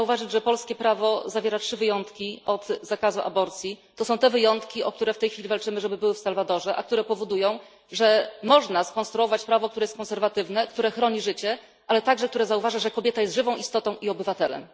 Chciałabym zauważyć, że polskie prawo zawiera trzy wyjątki od zakazu aborcji. To są te wyjątki, o które w tej chwili walczymy, żeby były w Salwadorze, a które powodują, że można skonstruować prawo, które jest konserwatywne i które chroni życie, ale także które zauważa, że kobieta jest żywą istotą i obywatelem.